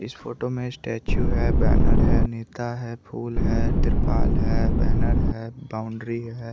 इस फोटो में स्टैचू है बैनर है नेता है फूल है तिरपाल है बैनर है बाउंड्री है।